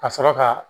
Ka sɔrɔ ka